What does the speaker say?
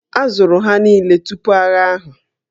A zụrụ ha niile tupu agha ahụ